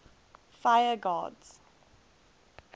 fire gods